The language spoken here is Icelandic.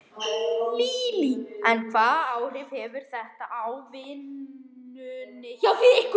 Lillý: En hvaða áhrif hefur þetta á vinnuna hjá ykkur?